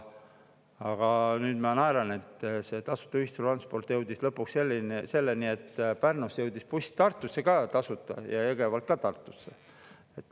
Aga nüüd ma naeran, et tasuta ühistransport jõudis lõpuks selleni, et Pärnusse jõudis buss, Tartusse ka tasuta ja Jõgevalt ka Tartusse.